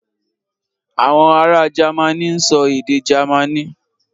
Àwọn ará Jamaní ń sọ èdè Jamaní.